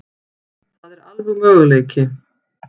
Það er alveg möguleiki.